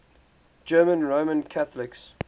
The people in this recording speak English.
german roman catholics